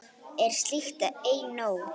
Er slíkt ei nóg?